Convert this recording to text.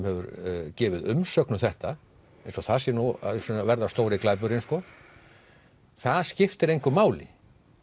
hefur gefið umsögn um þetta eins og það sé nú að verða stóri glæpurinn sko það skiptir engu máli